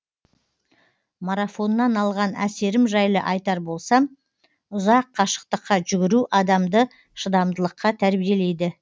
марафоннан алған әсерім жайлы айтар болсам ұзақ қашықтыққа жүгіру адамды шыдамдылыққа тәрбиелейді